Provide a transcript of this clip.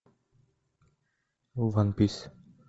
ван пис